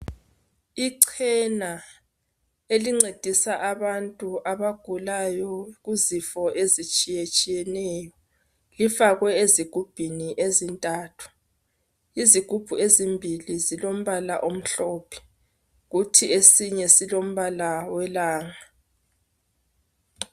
Ichena elincedisa abantu abagulayo izifo ezitshiye tshiyeneyo, lifakwe ezigubhini ezintathu. Izigubhu ezimbili zilombala omhlophe kuthi esinye silombala welanga.